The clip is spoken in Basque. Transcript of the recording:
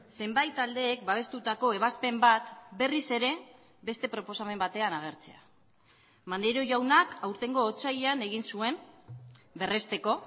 zenbait taldeek babestutako ebazpen bat berriz ere beste proposamen batean agertzea maneiro jaunak aurtengo otsailean egin zuen berresteko